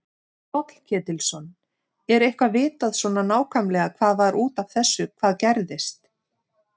Páll Ketilsson: Er eitthvað vitað svona nákvæmlega hvað var út af þessu hvað gerðist?